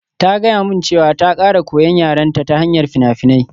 Ta gaya min cewa ta ƙara koyan yarenta ta hanyar fina-finai